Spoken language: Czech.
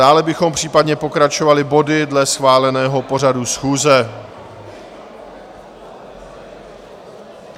Dále bychom případně pokračovali body dle schváleného pořadu schůze.